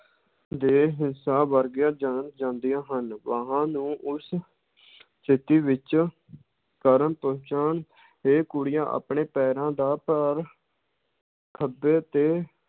ਦੇ ਹਿੱਸਾ ਵਰਗੀਆਂ ਜਾਣ ਜਾਂਦੀਆਂ ਹਨ, ਬਾਹਾਂ ਨੂੰ ਉਸ ਸਥਿੱਤੀ ਵਿੱਚ ਕਰਨ ਪਹੁੰਚਾਉਣ ਤੇ ਕੁੜੀਆਂ ਆਪਣੇ ਪੈਰਾਂ ਦਾ ਭਾਰ ਖੱਬੇ ਤੇ